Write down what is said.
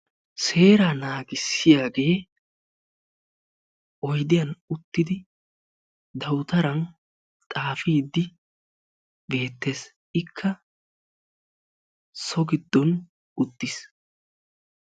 Seeraa naagissiyagee oydiyan uttidi dawutaran xaafiiddi beettes. Ikka so giddon uttis.